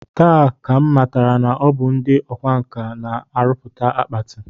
Taa ka m matara na ọ bụ ndị ọkwa nkà na-arụpụta akpati